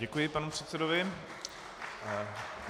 Děkuji panu předsedovi.